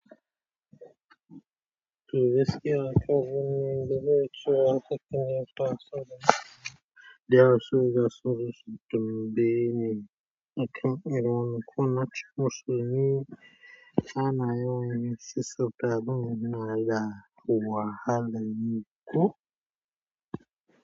To gaskiya aka zo ne da za a sake neman tatsuniya. Da yaushe za su zo su tafi bene? Akan iya ma makon na ciku su yi. Ana yawan yin sissafa abun yana da wahalar yi ko?